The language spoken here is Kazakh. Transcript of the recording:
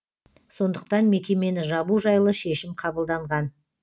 сондықтан мекемені жабу жайлы шешім қабылданған